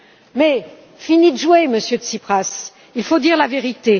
Mais fini de jouer, Monsieur Tsipras, il faut dire la vérité!